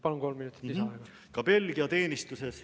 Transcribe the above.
Palun, kolm minutit lisaaega!